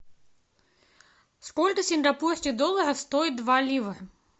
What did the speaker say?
сколько сингапурских долларов стоит два лира